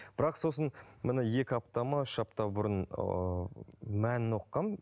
бірақ сосын екі апта ма үш апта бұрын ыыы мәнін оқығанмын